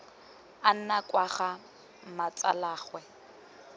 a nna kwa ga mmatsalaagwe